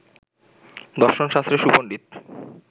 দশর্ন শাস্ত্রে সুপণ্ডিত